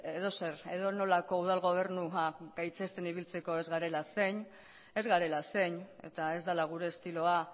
edozer edonolako udal gobernua gaitzesten ibiltzeko ez garela zein ez garela zein eta ez dela gure estiloa